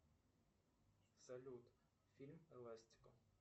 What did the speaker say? салют фильм эластико